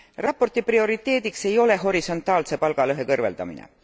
Raporti prioriteediks ei ole horisontaalse palgalõhe kõrvaldamine.